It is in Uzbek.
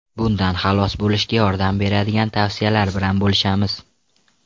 Bundan xalos bo‘lishga yordam beradigan tavsiyalar bilan bo‘lishamiz.